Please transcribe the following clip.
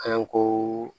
Kalanko